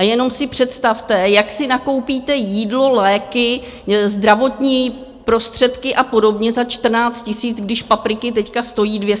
A jenom si představte, jak si nakoupíte jídlo, léky, zdravotní prostředky a podobně za 14 000, když papriky teď stojí 200 korun.